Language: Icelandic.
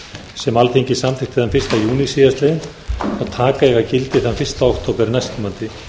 sem alþingi samþykkti þann fyrsta júní síðastliðinn og taka eiga gildi þann eina október næstkomandi